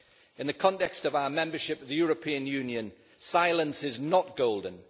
In the context of our membership of the European Union, silence is not golden.